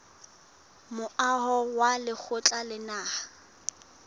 moaho wa lekgotla la naha